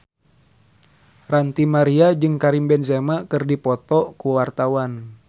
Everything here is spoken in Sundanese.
Ranty Maria jeung Karim Benzema keur dipoto ku wartawan